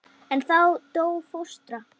En þá dó fóstra.